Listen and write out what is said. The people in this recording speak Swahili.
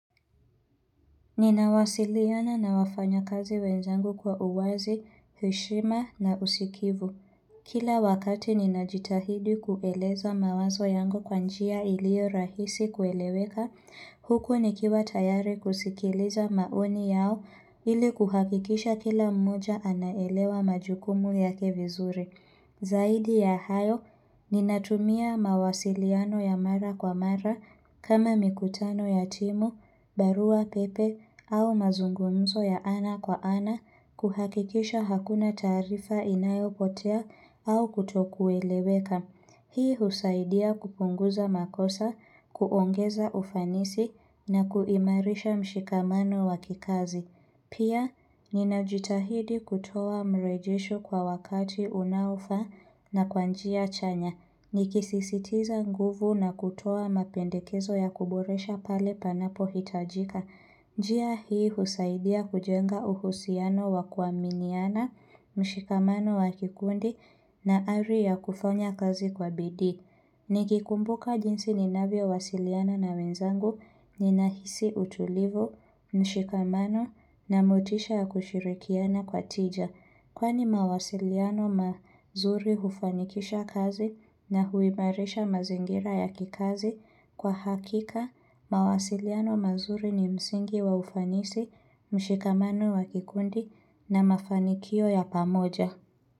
Ninawasiliana na wafanyakazi wenzangu kwa uwazi, heshima na usikivu. Kila wakati ninajitahidi kueleza mawazo yangu kwa njia iliyo rahisi kueleweka, huku nikiwa tayari kusikiliza maoni yao ili kuhakikisha kila mmoja anaelewa majukumu yake vizuri. Zaidi ya hayo, ninatumia mawasiliano ya mara kwa mara kama mikutano ya timu, barua pepe au mazungumzo ya ana kwa ana kuhakikisha hakuna taarifa inayopotea au kutokueleweka. Hii husaidia kupunguza makosa, kuongeza ufanisi na kuimarisha mshikamano wakikazi. Pia, ninajitahidi kutoa marejesho kwa wakati unaofaa na kwa njia chanya. Nikisisitiza nguvu na kutoa mapendekezo ya kuboresha pale panapo hitajika. Njia hii husaidia kujenga uhusiano wa kuaminiana, mshikamano wa kikundi na ari ya kufanya kazi kwa bidiii. Ni kikumbuka jinsi ninavyo wasiliana na wenzangu ni nahisi utulivu, mshikamano na motisha ya kushirikiana kwa tija. Kwani mawasiliano mazuri hufanikisha kazi na huimarisha mazingira ya kikazi. Kwa hakika, mawasiliano mazuri ni msingi wa ufanisi, mshikamano wa kikundi na mafanikio ya pamoja.